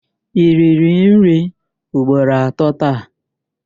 I riri nri ugboro atọ taa?